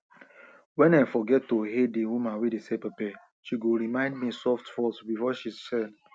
wen i forget to hail the woman wey dey sell pepper she go remind me softsoft before she sell